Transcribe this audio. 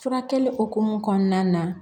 Furakɛli hukumu kɔnɔna na